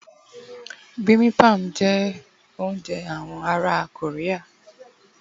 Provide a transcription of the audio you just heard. bimbimbap jé ounjẹ àwọn ará Korea